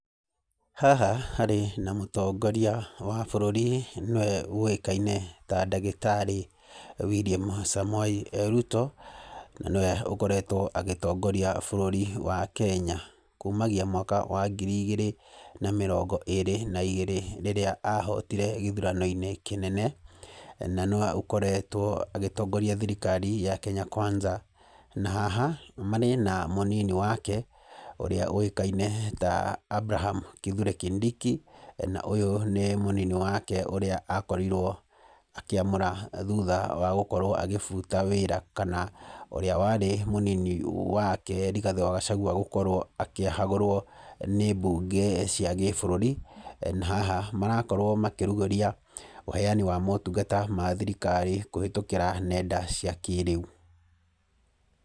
Haha harĩ na mũtongoria wa bũrũri nĩwe ũĩkaine ta ndagĩtarĩ William Samoei Ruto, na nĩwe ũkoretwo agĩtongoria bũrũri wa Kenya kumagia mwaka wa ngiri igĩrĩ na mĩrongo ĩrĩ na igĩrĩ rĩrĩa ahotire gĩthurano kĩnene. Na no akoretwo agĩtongoria thirikari ya Kenya Kwanza na haha marĩ na mũnini wake ũrĩa ũĩkaine ta Abraham Kithure Kindiki. Na ũyũ nĩ mũnini wake ũrĩa akorirwo akĩamũra thutha wa gũkorwo akĩbuta wĩra kana ũrĩa warĩ mũnini wake Rĩgathĩ wa Gachagua gũkorwo akĩhagũrwo nĩ mbunge cia gĩbũrũri. Na haha marakorwo makĩrugũria ũheyani wa motungata ma thirikari kũhĩtũkĩra nenda cia kĩrĩu.